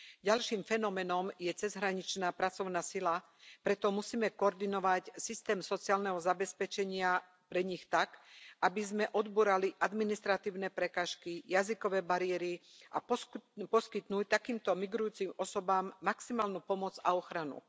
Ďalším fenoménom je cezhraničná pracovná sila, preto musíme koordinovať systém sociálneho zabezpečenia pre nich tak, aby sme odbúrali administratívne prekážky, jazykové bariéry, a poskytnúť takýmto migrujúcim osobám maximálnu pomoc a ochranu.